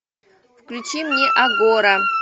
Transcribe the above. включи мне агора